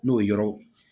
N'o yɔrɔ